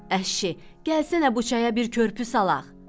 Əşşi, gəlsənə bu çaya bir körpü salaq.